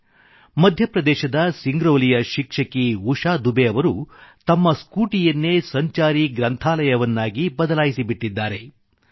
ಮಧ್ಯಪ್ರದೇಶದ ಸಿಂಗ್ರೌಲಿಯ ಶಿಕ್ಷಕಿ ಉಷಾ ದುಬೆ ಅವರು ತಮ್ಮ ಸ್ಕೂಟಿಯನ್ನೇ ಸಂಚಾರಿ ಗ್ರಂಥಾಲಯವನ್ನಾಗಿ ಮೊಬೈಲ್ ಲೈಬ್ರರಿ ಬದಲಾಯಿಸಿಬಿಟ್ಟಿದ್ದಾರೆ